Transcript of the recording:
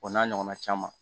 O n'a ɲɔgɔn na caman